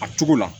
A cogo la